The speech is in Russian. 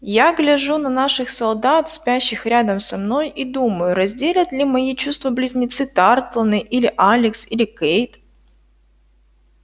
я гляжу на наших солдат спящих рядом со мной и думаю разделят ли мои чувства близнецы тарлтоны или алекс или кэйд